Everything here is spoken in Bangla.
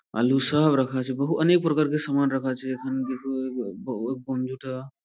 আলু সব রাখা আছে বহু অনেক প্রকারকে সামান রাখা আছে টা--